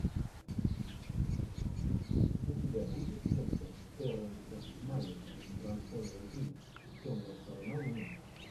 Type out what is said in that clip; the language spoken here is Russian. у тебя будет лента терренса малика трансформеры три темная сторона луны